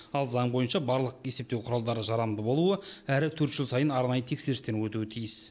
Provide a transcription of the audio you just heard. ал заң бойынша барлық есептеу құралдары жарамды болуы әрі өрт жыл сайын арнайы тексерістен өтуі тиіс